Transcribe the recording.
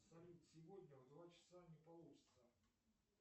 салют сегодня в два часа не получится